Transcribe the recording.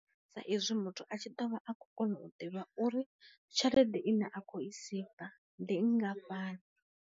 Sa izwi muthu a tshi ḓovha a kho kona u ḓivha uri tshelede ine a khou i seiva ndi ngafhani.